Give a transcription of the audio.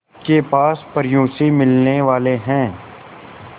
के पास परियों से मिलने वाले हैं